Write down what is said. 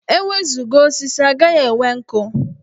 E wezuga osisi, a gaghị enwe nkụ.